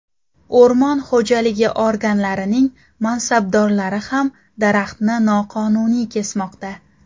O‘rmon xo‘jaligi organlarining mansabdorlari ham daraxtni noqonuniy kesmoqda.